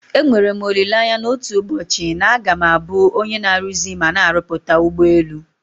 Enwere m olileanya na otu ụbọchị na a ga m abụ onye na-aruzi mana na-arụpụta ụgbọelu.